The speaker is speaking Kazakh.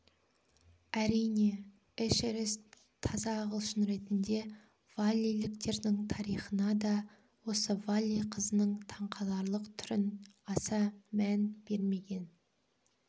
әрине эшерест таза ағылшын ретінде валлиліктердің тарихына да осы валли қызының таңқаларлық түрін аса мән бермеген